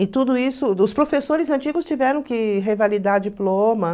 E tudo isso, os professores antigos tiveram que revalidar diploma.